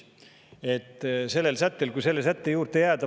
Sellel sättel, kui selle sätte juurde jääda …